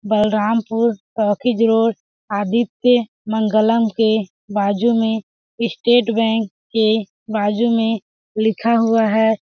Balrampur road Aditya Mangalam के बाजु में ईस्टेट बैंक के बाजु में लिखा हुआ है।